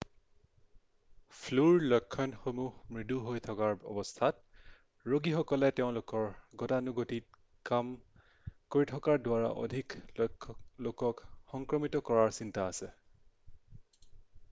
ফ্লুৰ লক্ষণসমূহ মৃদু হৈ থকাৰ অৱস্থাত ৰোগীসকলে তেওঁলোকৰ গতানুগতিক কাম কৰি থকাৰ দ্বাৰা অধিক লোকক সংক্ৰমিত কৰাৰ চিন্তা আছে